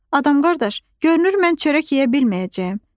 Adam-qardaş, görürsən mən çörək yeyə bilməyəcəyəm.